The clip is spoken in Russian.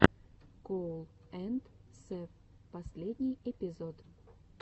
коул энд сэв последний эпизод